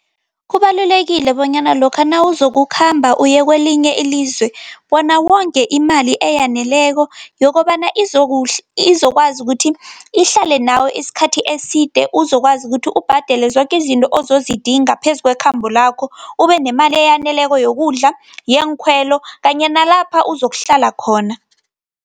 Kubalulekile bonyana lokha nawuzokukhamba uye kelinye ilizwe, bona wonge imali eyaneleko yokobana izokwazi ukuthi ihlale nawe isikhathi eside. Uzokwazi ukuthi ubhadele zoke izinto ozidingako, phezu kwekhambo lakho, ube nemali eyaneleko yokudla, yeenkhwelo, kanye nalapha uzokuhlala khona.